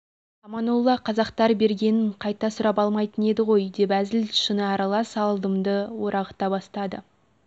аманолла қазақтар бергенін қайта сұрап алмайтын еді ғой деп әзіл-шыны аралас алдымды орағыта бастады